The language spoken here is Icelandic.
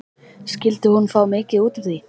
Skyldi hún fá mikið út úr því?